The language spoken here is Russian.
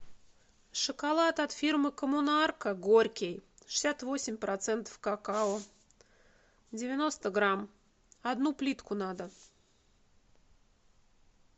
шоколад от фирмы коммунарка горький шестьдесят восемь процентов какао девяносто грамм одну плитку надо